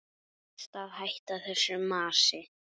Best að hætta þessu masi.